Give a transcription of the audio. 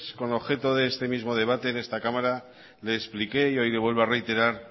con objeto de este mismo debate en esta cámara le expliqué y hoy le vuelvo a reiterar